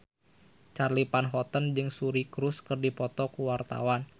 Charly Van Houten jeung Suri Cruise keur dipoto ku wartawan